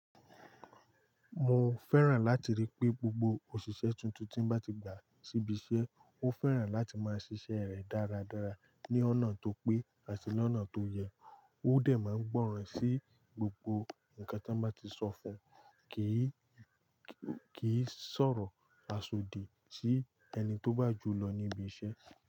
Mo fẹ́ràn láti rí pé gbogbo òṣìṣẹ́ tuntun tí bá ti gbà síbi iṣẹ́, ó fẹ́ràn láti máa ṣíṣe rẹ̀ dáradára ní ọ̀nà tó pé àti ní ọ̀nà tó yẹ. Ó dẹ̀ máa gbọ́ràn sí gbogbo nǹkan tí wọ́n bá ti sọ fún, kì í, kì í sọ̀rọ̀ asodi sí ẹni tó bá jù lọ ní ibi iṣẹ́.